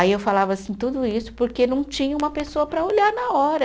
Aí eu falava assim, tudo isso porque não tinha uma pessoa para olhar na hora.